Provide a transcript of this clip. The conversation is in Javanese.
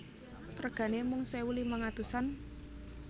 Regane mung sewu limang atusan